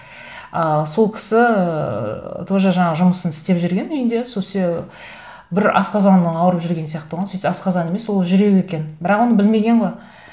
ы сол кісі ыыы тоже жаңағы жұмысын істеп жүрген үйінде бір асқазанының ауырып жүргені сияқты болған сөйтсе асқазан емес ол жүрегі екен бірақ оны білмеген ғой